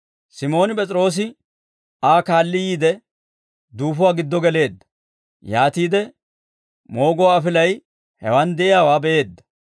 Simooni P'es'iroose Aa kaalli yiide, duufuwaa giddo geleedda. Yaatiide mooguwaa afilay hewan de'iyaawaa be'eedda;